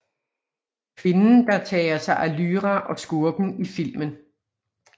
Kvinden der tager sig af Lyra og skurken i filmen